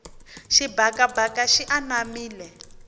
xibakabaka xi anamile